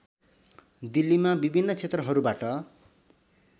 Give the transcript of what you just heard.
दिल्लीमा विभिन्न क्षेत्रहरूबाट